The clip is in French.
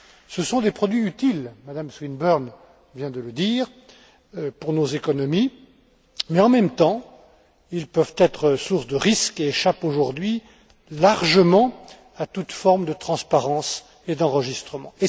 Ce sont des produits utiles, Mme Swinburne vient de le dire, pour nos économies mais, en même temps, ils peuvent être source de risques et échappent aujourd'hui largement à toute forme de transparence et d'enregistrement.